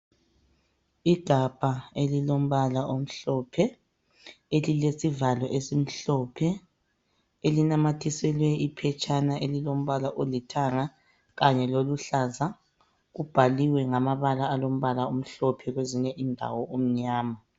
Igabha elilombala omhlophe elilesivalo esimhlophe elinamathiselwe iphetshana elilombala olithanga kanya loluhlaza kubhaliwe ngamabala alombala amhlophe kwezinye indawo umnyama.